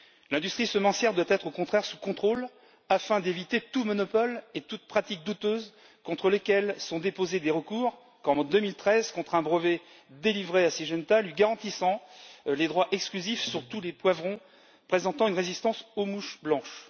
L'industrie semencière doit être, au contraire, sous contrôle afin d'éviter tout monopole et toute pratique douteuse, contre lesquels sont déposés des recours, comme en 2013 contre un brevet délivré à Syngenta lui garantissant les droits exclusifs sur tous les poivrons présentant une résistance aux mouches blanches.